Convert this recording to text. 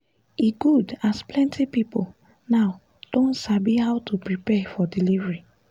e good as plenty people now don sabi how to prepare for delivery